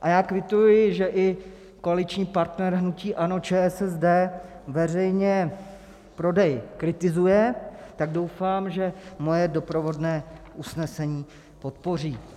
A já kvituji, že i koaliční partner hnutí ANO ČSSD veřejně prodej kritizuje, tak doufám, že moje doprovodné usnesení podpoří.